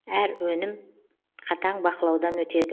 әр өнім қатаң бақылаудан өтеді